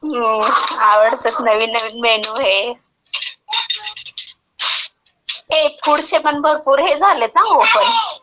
हो. आवडतं, नवीन नवीन मेनू हे..हे फूडचे पण भरपूर हे झालेत ना लोकं.